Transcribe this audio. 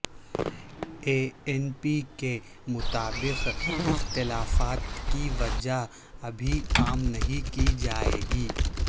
اے N P کے مطابق اختلافات کی وجہ ابھی عام نہیں کی جائے گی